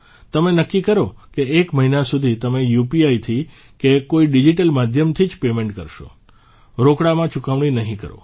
તમે નક્કી કરો કે એક મહિના સુધી તમે યુપીઆઇથી કે કોઇ ડીજીટલ માધ્યમથી જ પેમેન્ટ કરશો રોકડમાં ચૂકવણી નહીં કરો